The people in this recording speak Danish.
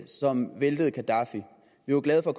som væltede gaddafi vi var glade for at